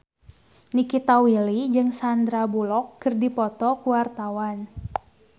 Nikita Willy jeung Sandar Bullock keur dipoto ku wartawan